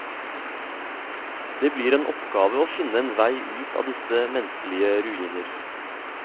Det blir en oppgave å finne en vei ut av disse menneskelige ruiner.